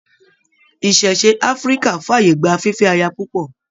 Ìṣẹ̀ṣe Áfíríkà f'ààyè gbà fifẹ aya púpọ.